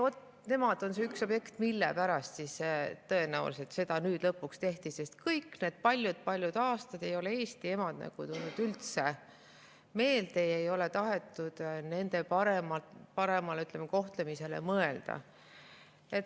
Vaat nemad on see objekt, mille pärast tõenäoliselt seda nüüd lõpuks tehti, sest kõik need pikad-pikad aastad ei ole Eesti emad tulnud üldse meelde ja ei ole tahetud nende paremale kohtlemisele mõelda.